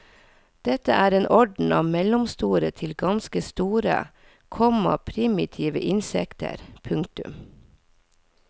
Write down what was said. Dette er en orden av mellomstore til ganske store, komma primitive insekter. punktum